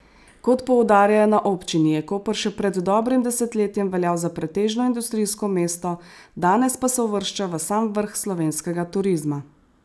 Kot poudarjajo na občini, je Koper še pred dobrim desetletjem veljal za pretežno industrijsko mesto, danes pa se uvršča v sam vrh slovenskega turizma.